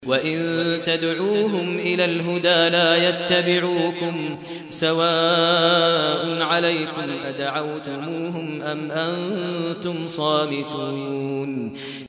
وَإِن تَدْعُوهُمْ إِلَى الْهُدَىٰ لَا يَتَّبِعُوكُمْ ۚ سَوَاءٌ عَلَيْكُمْ أَدَعَوْتُمُوهُمْ أَمْ أَنتُمْ صَامِتُونَ